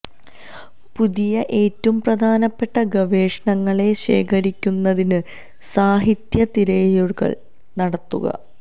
പുതിയ ഏറ്റവും പ്രധാനപ്പെട്ട ഗവേഷണങ്ങളെ ശേഖരിക്കുന്നതിന് സാഹിത്യ തിരയലുകൾ നടത്തുക